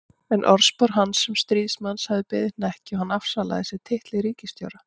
En orðspor hans sem stríðsmanns hafði beðið hnekki og hann afsalaði sér titli ríkisstjóra.